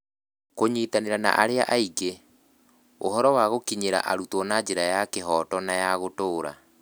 Kũnyitanĩra na arĩa angĩ (ũhoti wa gũkinyĩra arutwo na njĩra ya kĩhooto na ya gũtũũra)